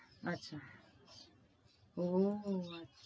আচ্ছা, ওহ আচ্ছা।